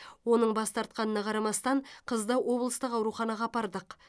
оның бас тартқанына қарамастан қызды облыстық ауруханаға апардық